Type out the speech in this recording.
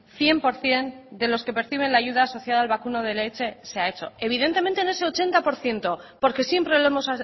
cien por ciento de los que perciben la ayuda social al vacuno de leche se ha hecho evidentemente en ese ochenta por ciento porque siempre lo hemos